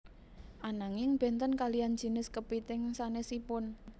Ananging bénten kaliyan jinis kepithing sanésipun